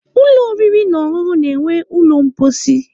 Ụlọ oriri na ọṅụṅụ nwere ụlọ mposi.